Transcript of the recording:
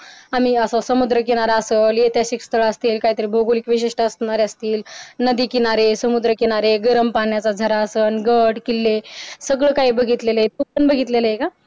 आम्ही असं समुद्रकिनारा आहे त्या पिक्चर असेल काहीतरी बघत भोगोलिक विशिष्ट असणार असतील नदीकिनारे समुद्रकिनारे गरम पाण्याचा झरा असं गडकिल्ले सगळं काही बघितले आहेत बघितलेलं का